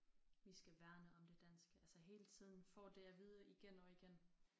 Vi skal værne om det danske altså hele tiden får det at vide igen og igen